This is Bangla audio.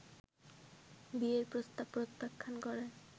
বিয়ের প্রস্তাব প্রত্যাখ্যান করায়